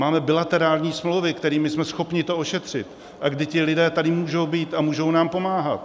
Máme bilaterální smlouvy, kterými jsme schopni to ošetřit, a kdy ti lidé tady můžou být a můžou nám pomáhat.